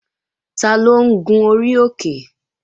Taló ń gun orí òkè?